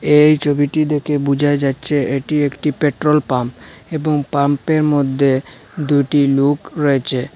এই ছবিটি দেখে বোঝা যাচ্ছে এটি একটি পেট্রোল পাম্প এবং পাম্পের মধ্যে দুটি লোক রয়েছে।